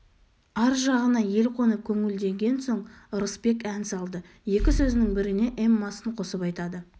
ар жағына ел қонып көңілденген соң ырысбек ән салды екі сөзінің біріне эммасын қосып айтады